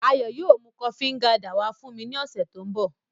Ayo yóò mu kofi Nganda wa fun mi ni ọsẹ to nbọ.